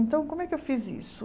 Então, como é que eu fiz isso?